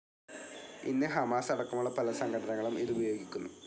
ഇന്ന് ഹമാസ് അടക്കമുള്ള പല സംഘടനകളും ഇത് ഉപയോഗിക്കുന്നു.